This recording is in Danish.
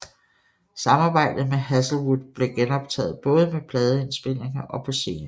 Samarbejdet med Hazlewood blev genoptaget både med pladeindspilninger og på scenen